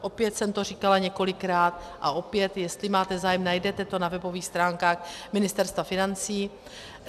Opět jsem to říkala několikrát a opět, jestli máte zájem, najdete to na webových stránkách Ministerstva financí.